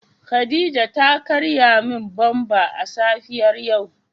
Khadijah ta karya min "bumper" a safiyar yau.